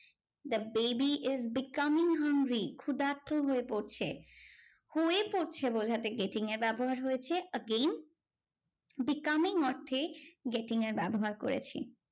The baby is becoming hungry ক্ষুদার্থ হয়ে পড়ছে। হয়ে পড়ছে বোঝাতে getting এর ব্যবহার হয়েছে again becoming অর্থে getting এর ব্যবহার করেছি।